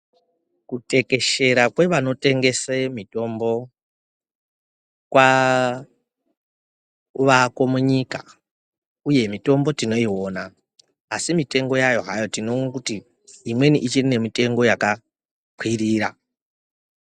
Kutekeshera kwevanotengese mitombo kwavako munyika uye mitombo tinoiwona, asi mitengo yayo hayo tinoona kuti imweni ichiri nemitengo yakakwirira.